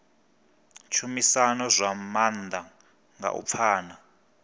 tshumisano zwa maanḓa nga u pfana